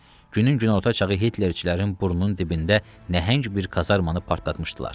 Günün günorta çağı Hitlerçilərin burnunun dibində nəhəng bir kazarmannı partlatmışdılar.